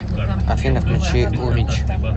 афина включи урич